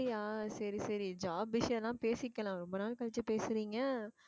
அப்படியா சரி சரி job விஷயம்னா பேசிக்கலாம் ரொம்ப நாள் கழிச்சு பேசுறீங்க